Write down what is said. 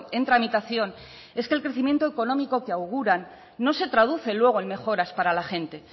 en tramitación es que el crecimiento económico que auguran no se traduce luego en mejoras para la gente